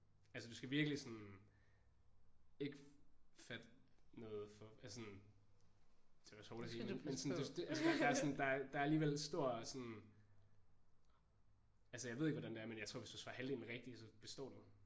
Altså du skal virkelig sådan ikke fatte noget for at sådan det er også hårdt at sige. Men sådan der er alligevel stor sådan altså jeg ved ikke hvordan det er men jeg tror hvis du svarer halvdelen rigtige så består du